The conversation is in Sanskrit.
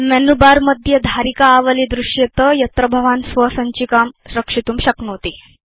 मेनुबारमध्ये धारिका आवली दृश्येत यत्र भवान् स्वसञ्चिकां रक्षितुं शक्नोति